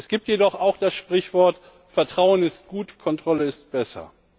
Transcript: Es gibt jedoch auch das Sprichwort Vertrauen ist gut, Kontrolle ist besser.